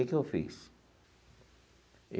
Que que eu fiz?